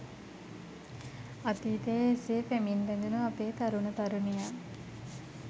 අතීතයේ එසේ පෙමින් බැඳුණු අපේ තරුණ තරුණියන්